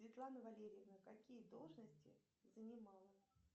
светлана валерьевна какие должности занимала